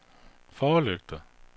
forlygter